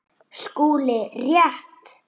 SKÚLI: Rétt!